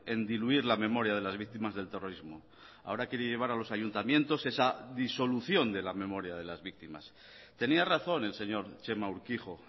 en diluir la memoria de las víctimas del terrorismo ahora quiere llevar a los ayuntamientos esa disolución de la memoria de las víctimas tenía razón el señor txema urkijo